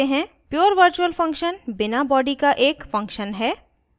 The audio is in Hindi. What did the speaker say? pure virtual function बिना body का एक function है